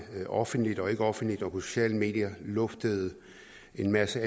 offentligt og ikke offentligt og på sociale medier luftet en masse